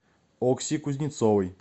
окси кузнецовой